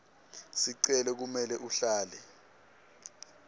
sicelo kumele uhlale